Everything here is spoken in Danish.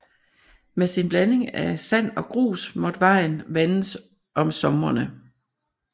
Med sin blanding af sand og grus måtte vejen vandes om somrene